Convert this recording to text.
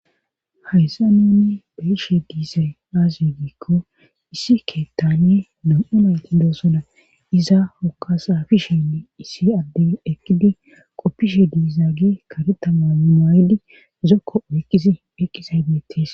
Hayssa nuuni beyishe diisay aaziy giikko issi ke tanie dum7u mayti doosona iza hoka saafi sheynne issi addey ekkidi qoppishe diiza ge karetama maydi zokko oykkizi eqqizaybeetis